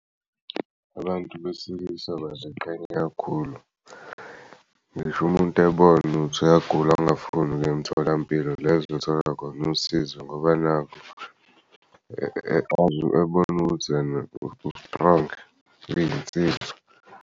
Abantu besilisa baziqhenya kakhulu ngisho umunt'ebona ukuthi uyagula angafuni ukuya emtholampilo la ezothola khon'usizo ngoba nakhu ebona ukuthi yena u-strong uyinsizwa.